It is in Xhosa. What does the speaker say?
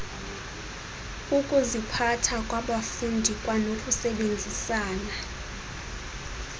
ukuziphatha kwabafundi kwanokusebenzisana